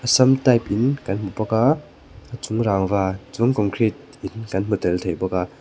sam type in kan hmu bawk a a chung rangva chuan concrete in kan hmu tel thei bawk a.